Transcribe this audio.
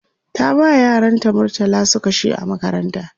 ta ba yaran ta murtala su kashe a makaranta